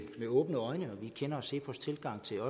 åbne øjne og vi kender også cepos tilgang til